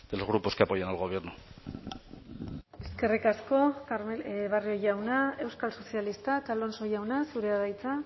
los grupos que apoyan al gobierno eskerrik asko barrio jauna euskal sozialistak alonso jauna zurea da hitza